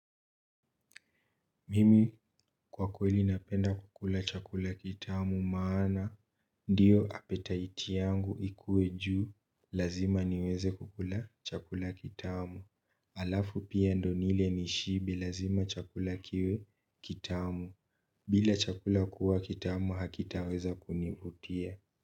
Mimi kwa kweli napenda kukula chakula kitamu maana ndiyo appetite yangu ikue juu lazima niweze kukula chakula kitamu alafu pia ndio nile nishibe lazima chakula kiwe kitamu bila chakula kuwa kitamu hakitaweza kunivutia.